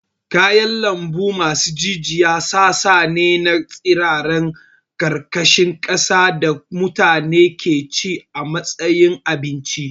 Kayan lambu masu jijiya sassa ne na tsirarran ƙarƙashin ƙasa da mutane ke ci a matsayin abinci.